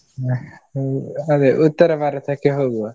ಹಾ ಅದೇ ಉತ್ತರಭಾರತಕ್ಕೆ ಹೋಗುವ.